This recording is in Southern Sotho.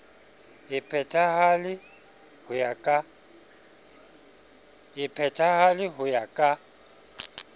e phethahale ho ya ka